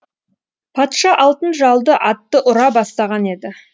патша алтын жалды атты ұра бастаған еді